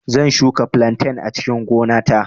Zan shuka flantain a cikin gona ta